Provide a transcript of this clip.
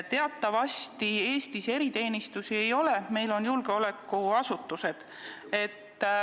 Teatavasti Eestis eriteenistusi ei ole, meil on julgeolekuasutused.